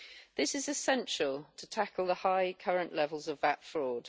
This is essential to tackle the high current levels of VAT fraud.